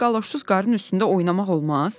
Bəyəm qaloşsuz qarın üstündə oynamaq olmaz?